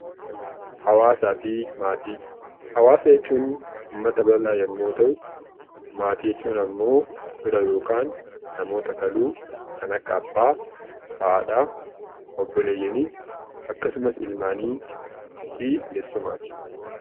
Hawaasafi maatii; hawaasa jechuun uummata bal'aa yommuu ta'u, maatii jechuun ammoo fira yookaan namoota kaluu kan akka abbaa haadhaa obboleeyyanii akkasumas ilmaaniifi eessumaati.